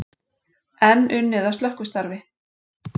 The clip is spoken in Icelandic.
Enn unnið að slökkvistarfi